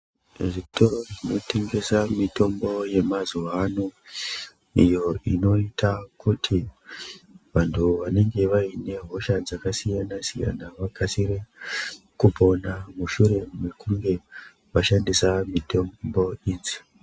Zvitoro zvinotengesa mitombo yemazuva ano, iyo inoita kuti vantu vanenge vane hosha dzakasiyana-siyana vakasire kupona mushure mekunge vashandisa mitombo idzi.